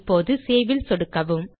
இப்போது Saveல் சொடுக்கவும்